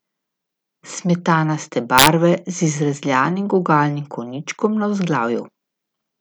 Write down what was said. Smetanaste barve z izrezljanim gugalnim konjičkom na vzglavju.